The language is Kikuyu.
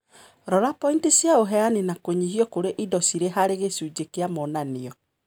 rora pointi cia ũheani na kũnyihio kũrĩ indo cirĩ harĩ gĩcunjĩ kĩa monanio.